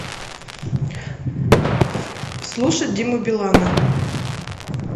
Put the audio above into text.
слушать диму билана